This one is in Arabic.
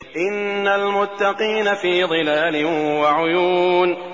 إِنَّ الْمُتَّقِينَ فِي ظِلَالٍ وَعُيُونٍ